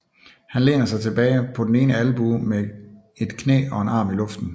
Han læner sig tilbage på den ene albue med et knæ og en arm i luften